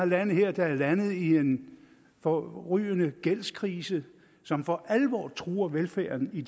lande her der er landet i en forrygende gældskrise som for alvor truer velfærden i